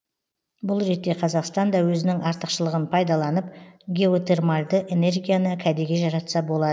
бұл ретте қазақстан да өзінің артықшылығын пайдаланып геотермальды энергияны кәдеге жаратса бола